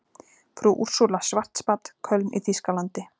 Frú Úrsúla Schwarzbad, Köln í þýskalandi.